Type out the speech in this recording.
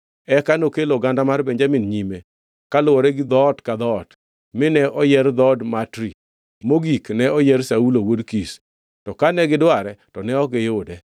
Eka nokelo oganda mar Benjamin nyime, kaluwore gi dhoot ka dhoot, mine oyier dhood Matri. Mogik ne oyier Saulo wuod Kish. To kane gidware, to ne ok oyude.